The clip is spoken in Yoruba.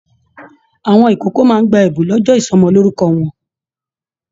Àwọn ìkókó náà gbà ẹbùn ní ọjọ ìsọmọlorúkọ wọn.